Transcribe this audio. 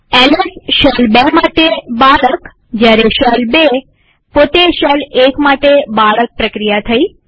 LS shell ૨ માટે બાળક જયારે શેલ ૨ પોતે શેલ ૧ માટે બાળક પ્રક્રિયા થઇ